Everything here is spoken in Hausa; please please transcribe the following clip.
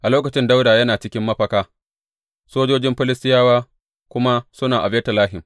A lokacin Dawuda yana cikin mafaka, sojojin Filistiyawa kuma suna a Betlehem.